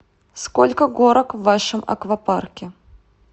сколько горок в вашем аквапарке